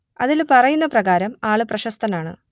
അതിൽ പറയുന്ന പ്രകാരം ആൾ പ്രശസ്തനാണ്